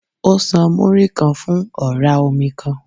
Ó san Múrí-kan fún ọ̀rá omi kan.